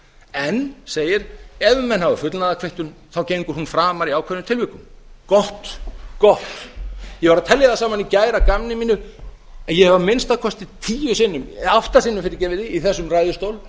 en segir ef menn hafa fullnaðarkvittun gengur hún framar í ákveðnum tilvikum gott gott ég var að telja það saman í gær í gamni mínu að ég hef að minnsta kosti átta sinnum í þessum ræðustól